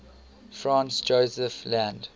franz josef land